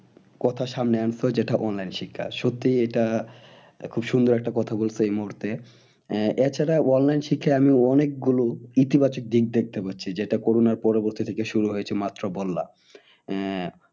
কথা সামনে আনছো যেটা online শিক্ষা সত্যি এটা খুব সুন্দর একটা কথা বলেছো এই মুহূর্তে আহ এছাড়া online শিক্ষায় আমি অনেক গুলো ইতি বাচক দিক দেখতে পাচ্ছি। যেটা করোনার পরবর্তী থেকে শুরু হয়েছে এই মাত্র বললাম। আহ